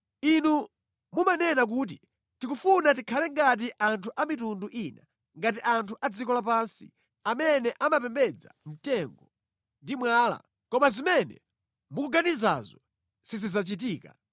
“ ‘Inu munanena kuti, ‘Tikufuna tikhale ngati anthu a mitundu ina, ngati anthu adziko lapansi, amene amapembedza mtengo ndi mwala.’ Koma zimene mukuganizazo sizidzachitika.